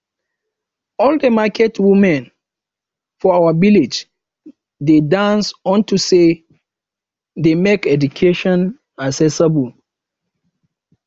all the market women for our village dey dance unto say dey make education accessible